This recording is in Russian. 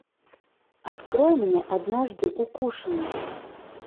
открой мне однажды укушенный